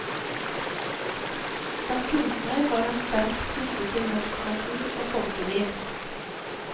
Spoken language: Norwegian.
Som kunstner var han sterkt knyttet til norsk natur og folkeliv.